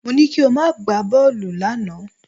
Mo ní kí o má gbá bọ́ọ̀lù lánàá